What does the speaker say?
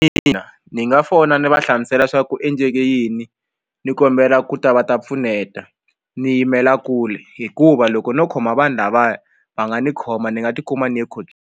Ina ni nga fona ni va hlamusela swa ku endleke yini ni kombela ku ta va ta pfuneta ni yimela kule hikuva loko no khoma vanhu lavaya va nga ni khoma ni nga ti kuma ni ye .